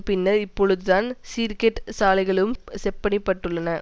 பின்னர் இப்பொழுதுதான் சீர்கெட்ட சாலைகளும் செப்பனிடப்பட்டுள்ளன